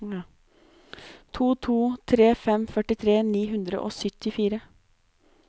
to to tre fem førtitre ni hundre og syttifire